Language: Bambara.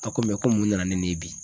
ko ko mun nana ne nin ye bi?